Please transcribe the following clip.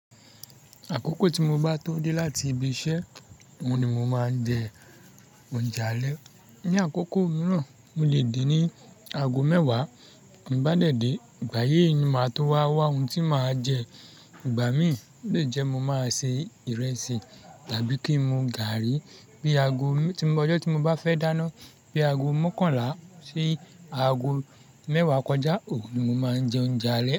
Àkókò tí mo bá tó dé láti ibi iṣẹ́, òun ni mo máa ń jẹ oúnjẹ alẹ́. Ni àkókò mìíràn, mo lè dé ní aago mẹ́wàá, mo bá dẹ̀ dé, igbaye ni màá tó wá wá ohun tí màá jẹ. Ìgbà mi lè jẹ́ mo máa ṣe ìrẹsì tàbí kí n mu gààrí bí aago, ọjọ́ tí mo bá fẹ́ dáná bí aago mọ́kànlá sí aago mẹ́wàá kọjá, òun ni mo máa ń jẹ oúnjẹ alẹ́.